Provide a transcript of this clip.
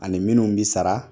Ani minnu bi sara